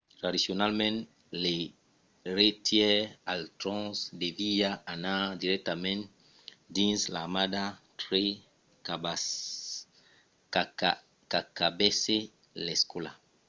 tradicionalament l’eiretièr al tròn deviá anar dirèctament dins l‘armada tre qu’acabèsse l’escòla